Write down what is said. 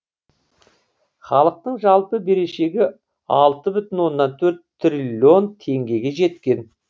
халықтың жалпы берешегі алты бүтін оннан төрт триллион теңгеге жеткен